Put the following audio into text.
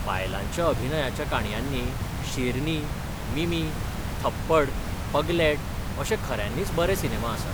बायलांच्या अभिनयाच्या काणयांनी शेरनी, मिमी, थप्पड, पगलैट अशे खऱ्यांनीच बरे सिनेमा आसात.